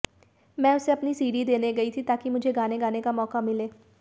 मैं उसे अपनी सीडी देने गई थी ताकि मुझे गाना गाने का मौका मिले